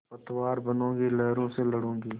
पतवार बनूँगी लहरों से लडूँगी